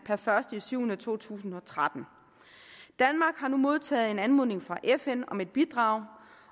per første juli to tusind og tretten danmark har nu modtaget en anmodning fra fn om et bidrag